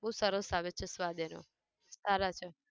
બઉ સરસ આવે છે સ્વાદ એનો, સારા છે